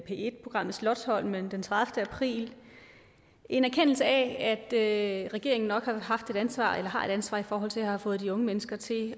en programmet slotsholmen den tredivete april en erkendelse af at regeringen nok har haft et ansvar eller har et ansvar i forhold til at have fået de unge mennesker til